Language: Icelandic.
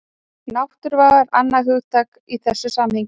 Náttúruvá er annað hugtak í þessu samhengi.